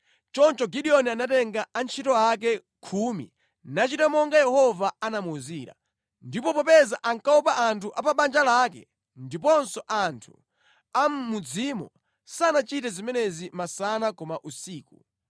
Choncho Gideoni anatenga antchito ake khumi nachita monga Yehova anamuwuzira. Ndipo popeza ankaopa anthu a pa banja lake ndiponso anthu a mʼmudzimo sanachite zimenezi masana koma usiku.